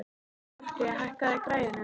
Bjarki, hækkaðu í græjunum.